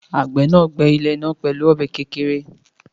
Àgbẹ̀ náà gbẹ́ ilẹ̀ náà pẹ̀lú ọ̀bẹ kékeré